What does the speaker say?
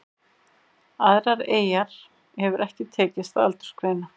Aðrar eyjar hefur ekki tekist að aldursgreina.